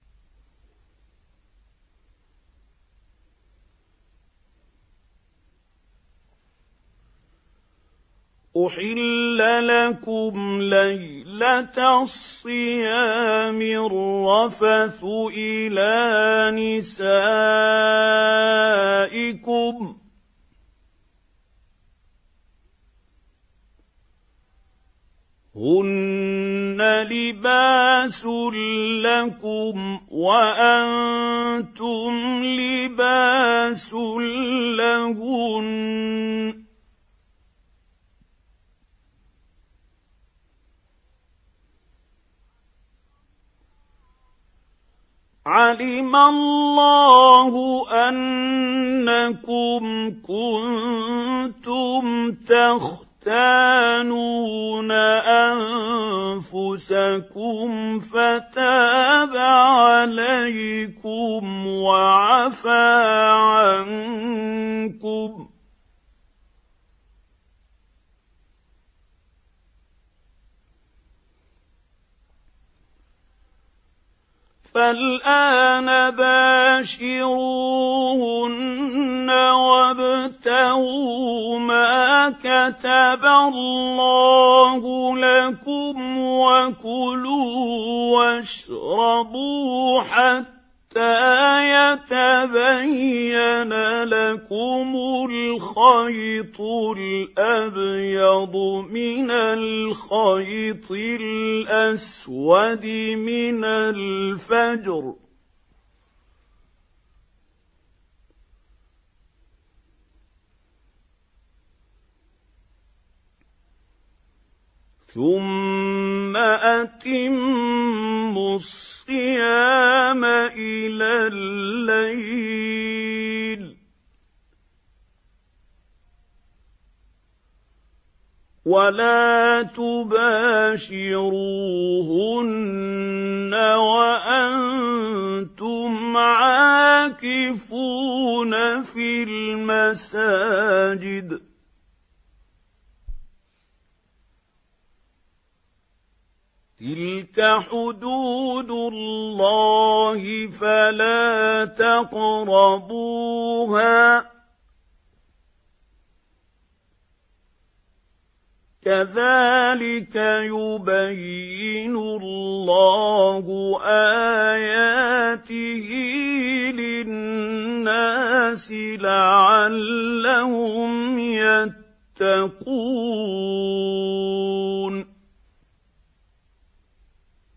أُحِلَّ لَكُمْ لَيْلَةَ الصِّيَامِ الرَّفَثُ إِلَىٰ نِسَائِكُمْ ۚ هُنَّ لِبَاسٌ لَّكُمْ وَأَنتُمْ لِبَاسٌ لَّهُنَّ ۗ عَلِمَ اللَّهُ أَنَّكُمْ كُنتُمْ تَخْتَانُونَ أَنفُسَكُمْ فَتَابَ عَلَيْكُمْ وَعَفَا عَنكُمْ ۖ فَالْآنَ بَاشِرُوهُنَّ وَابْتَغُوا مَا كَتَبَ اللَّهُ لَكُمْ ۚ وَكُلُوا وَاشْرَبُوا حَتَّىٰ يَتَبَيَّنَ لَكُمُ الْخَيْطُ الْأَبْيَضُ مِنَ الْخَيْطِ الْأَسْوَدِ مِنَ الْفَجْرِ ۖ ثُمَّ أَتِمُّوا الصِّيَامَ إِلَى اللَّيْلِ ۚ وَلَا تُبَاشِرُوهُنَّ وَأَنتُمْ عَاكِفُونَ فِي الْمَسَاجِدِ ۗ تِلْكَ حُدُودُ اللَّهِ فَلَا تَقْرَبُوهَا ۗ كَذَٰلِكَ يُبَيِّنُ اللَّهُ آيَاتِهِ لِلنَّاسِ لَعَلَّهُمْ يَتَّقُونَ